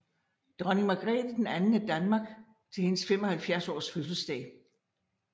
Dronning Margrethe II af Danmark til hendes 75 års fødselsdag